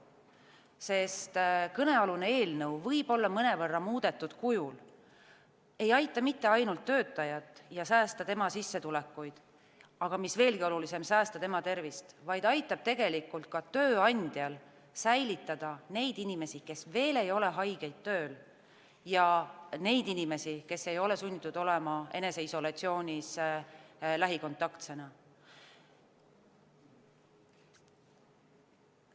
Sest kõnealune eelnõu, võib-olla mõnevõrra muudetud kujul, ei aita mitte ainult töötajal säästa tema sissetulekuid – aga mis veelgi olulisem, säästa tema tervist –, vaid aitab tegelikult ka tööandjal hoida tööl neid inimesi, kes veel ei ole haiged, ja neid inimesi, kes ei ole sunnitud olema lähikontaktsena eneseisolatsioonis.